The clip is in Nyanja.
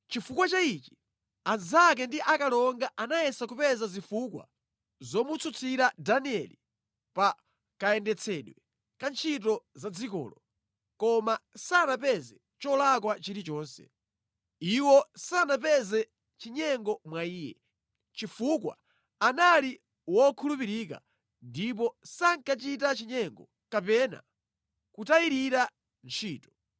Chifukwa cha ichi, anzake ndi akalonga anayesa kupeza zifukwa zomutsutsira Danieli pa kayendetsedwe ka ntchito za dzikolo, koma sanapeze cholakwa chilichonse. Iwo sanapeze chinyengo mwa iye, chifukwa anali wokhulupirika ndipo sankachita chinyengo kapena kutayirira ntchito.